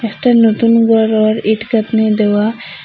একটা নতুন ঘরোর ইট গাঁথনি দেওয়া।